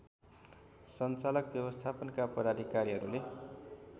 सञ्चालक व्यवस्थापनका पदाधिकारीहरूले